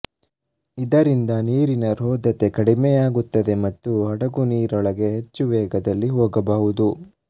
ಇದರಿಂದ ನೀರಿನ ರೋಧತೆ ಕಡಿಮೆಯಾಗುತ್ತದೆ ಮತ್ತು ಹಡಗು ನೀರೊಳಗೆ ಹೆಚ್ಚು ವೇಗದಲ್ಲಿ ಹೋಗಬಲ್ಲದು